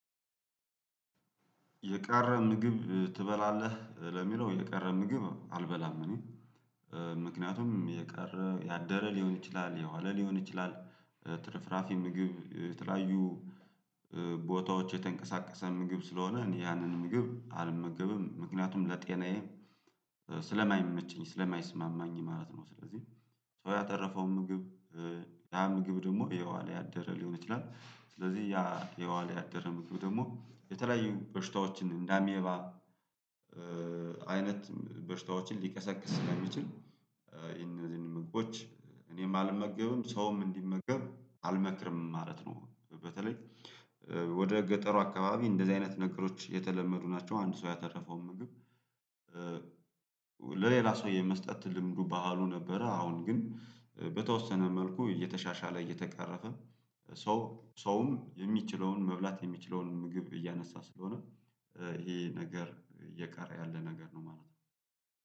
የቀረ ምግብ እ ትበላለህ ለሚለው የቀረ ምግብ አልበላም። እኔ እ ምክንያቱም የቀረ ያደረ ሊሆን ይችላል የዋለ ሊሆን ይችላል ትርፍራፊ ምግብ እ የተለያዩ እ ቦታዎች የተንቀሳቀሰ ምግብ ስለሆነ ያንን ምግብ አልመገብም ምክንያቱም ለጤናዬ እ ስለማይመቸኝ ስለማይስማማኝ ማለት ነው። ስለዚህ ሰው በተረፈው ምግብ ያ ምግብ ደግሞ የዋለ ያደረ ሊሆን ይችላል። ስለዚህ ያ የዋለ ያደረ ምግብ ደግሞ የተለያዩ በሽታዎችን እንዳ አሜባ እእ አይነት በሽታዎችን ሊቀሰቅስ ስለሚችል እ ይሄንን ምግቦች እኔም አልመገብም ሰውም እንዲመገብ አልመክርም ማለት ነው። በተለይ እ ወደ ገጠሩ አካባቢ እንደዚህ አይነት ነገሮች የተለመዱ ናቸው። አንድ ሰው ያተረፈው ምግብ እ ለሌላ ሰው የመስጠት ልምዱ ባህሉ ነበረ። አሁን ግን በተወሰነ መልኩ እየተሻሻለ እየተቀረፈ ሰው ሰውም የሚችለውን መብላት የሚችለውን ምግብ እያነሳ ስለሆነ እ ይሄ ነገር እየቀረ ያለ ነገር ነው። ማለት ነው።